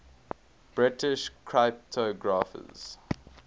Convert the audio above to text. british cryptographers